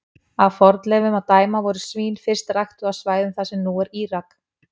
Af fornleifum að dæma voru svín fyrst ræktuð á svæðum þar sem nú er Írak.